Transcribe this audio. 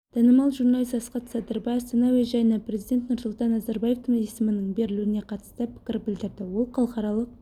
танымал журналист асхат садырбай астана әуежайына президент нұрсұлтан назарбаевтың есімінің берілуіне қатысты пікір білдірді ол халықаралық